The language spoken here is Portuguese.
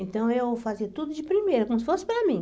Então, eu fazia tudo de primeira, como se fosse para mim.